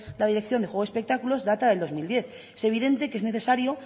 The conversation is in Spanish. la dirección de juegos y espectáculos data del dos mil diez es evidente que es necesario